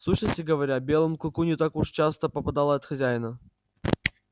в сущности говоря белому клыку не так уж часто попадало от хозяина